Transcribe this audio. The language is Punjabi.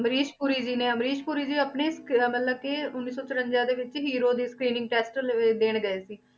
ਅਮਰੀਸ਼ ਪੁਰੀ ਜੀ ਨੇ ਅਮਰੀਸ਼ ਪੁਰੀ ਜੀ ਆਪਣੀ film ਮਤਲਬ ਕਿ ਉੱਨੀ ਸੌ ਚੁਰੰਜਾ ਦੇ ਵਿੱਚ hero ਦੀ screening test ਲ~ ਦੇਣ ਗਏ ਸੀ।